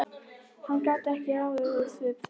Hann gat ekkert ráðið úr svip þeirra.